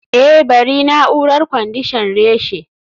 eh bari na'urar kwandishan reshe